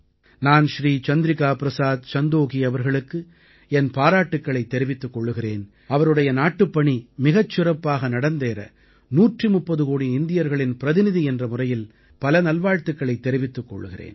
நான் ஸ்ரீ சந்திரிகா ப்ரஸாத் சந்தோகீ அவர்களுக்கு என் பாராட்டுக்களைத் தெரிவித்துக் கொள்கிறேன் அவருடைய நாட்டுப்பணி மிகச் சிறப்பாக நடந்தேற 130 கோடி இந்தியர்களின் பிரதிநிதி என்ற முறையில் பல நல்வாழ்த்துக்களைத் தெரிவித்துக் கொள்கிறேன்